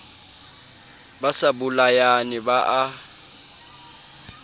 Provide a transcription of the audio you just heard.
ba sa bolayane ba a